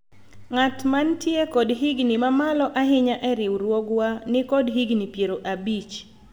ng'at mantie kod higni mamalo ahinya e riwruogwa nikod higni piero abich